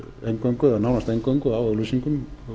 eingöngu eða nánast eingöngu á auglýsingum